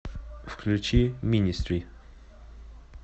включи министри